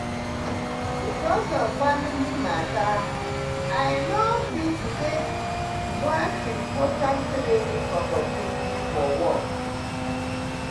because of family matter i no fit take one important training opportunity for work.